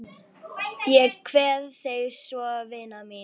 Ég kveð þig svo vina mín.